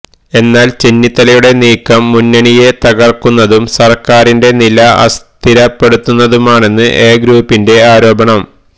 എന്നാല് ചെന്നിത്തലയുടെ നീക്കം മുന്നണിയെ തകര്ക്കുന്നതും സര്ക്കാരിന്റെ നില അസ്ഥിരപ്പെടുത്തുന്നതുമാണെന്നാണ് എ ഗ്രൂപ്പിന്റെ ആരോപണം